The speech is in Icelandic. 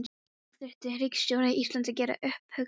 Nú þyrfti ríkisstjórn Íslands að gera upp hug sinn.